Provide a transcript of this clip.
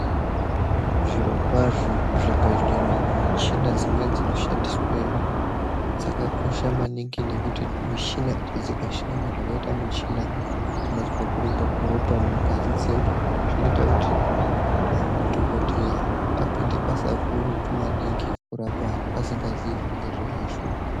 Zvirokwazvo kuzvibhedhlera uko michina dzimweni dzinoshandisweyo dzakakosha manhingi nekuti michinadzo dzikashaika, zvakaita muchina unozwa kurumba kweropa mungazi dzedu zvinoita kuti madhokodheya apinde basa gurutu maningi kurapa vanhu asingazii zvinenge zveiashupa.